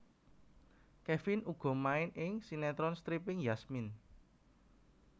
Kevin uga main ing sinetron stripping Yasmin